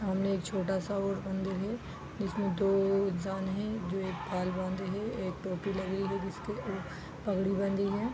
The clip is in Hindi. सामने एक छोटा सा और मंदिर है जिसमें दो इंसान हैं जो एक बाल बाँधे है एक टोपी लगे हैं जिसके एक पगड़ी बँधी है।